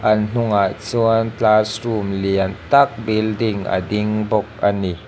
an hnungah chuan classroom lian tak building a ding bawk ani.